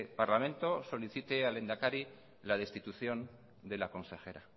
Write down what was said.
parlamento solicite al lehendakari la destitución de la consejera